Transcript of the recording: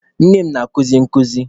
Nne m na-akuzi nkuzi.